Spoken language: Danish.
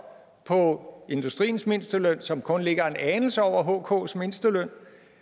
på industriens mindsteløn som kun ligger en anelse over hks mindsteløn